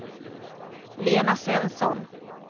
Lena Svensson